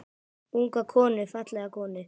Unga konu, fallega konu.